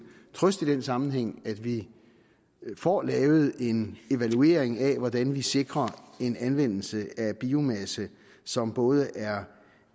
trøst i den sammenhæng at vi får lavet en evaluering af hvordan vi sikrer en anvendelse af biomasse som både er